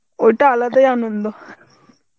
ঐটা আলাদাই আনন্দ